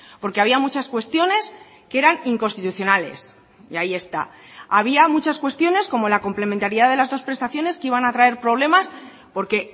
porque había muchas cuestiones que eran inconstitucionales y ahí está había muchas cuestiones como la complementariedad de las dos prestaciones que iban a traer problemas porque